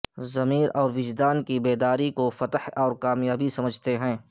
ضمیر اور وجدان کی بیداری کو فتح اور کامیابی سمجھتے ہیں